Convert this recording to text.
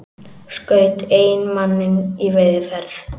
Skaut eiginmanninn í veiðiferð